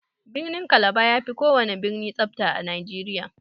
Birnin kalaba yafi kowana birni tsafta a nigeria.